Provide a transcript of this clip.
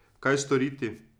Kaj storiti?